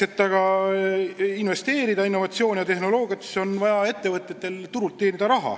Et aga investeerida innovatsiooni ja uutesse tehnoloogiatesse, on ettevõtjatel vaja turul raha teenida.